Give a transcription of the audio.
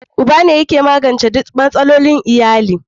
Uba ne yake magance duk matsalolin iyali.